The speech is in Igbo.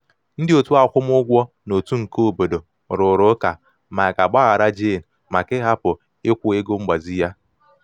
ndị otu akwụmugwọ n'otu um nke obodo rụrụ ụka ma a um ga-agbaghara jane maka ịhapụ ikwụ ego mgbazi ya.